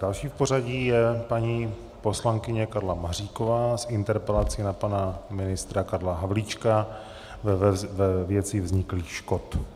Dalším v pořadí je paní poslankyně Karla Maříková s interpelací na pana ministra Karla Havlíčka ve věci vzniklých škod.